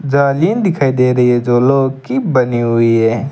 जाली दिखाई दे रही है जो लोह की बनी हुई है।